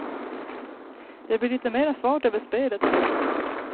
Det blir lite mera fart över spelet, säger han.